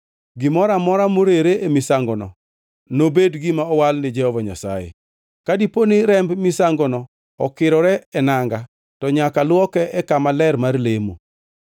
Gimoro amora morere e misangono nobed gima owal ni Jehova Nyasaye. Ka diponi remb misangono okirore e nanga, to nyaka lwoke e kama ler mar lemo.